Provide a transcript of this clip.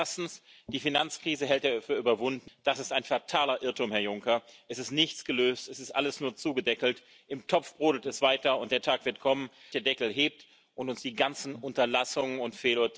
into Northern Ireland for consumers and the manufacturing process comes from Great Britain. Customs are regulatory barriers which put jobs and families at risk.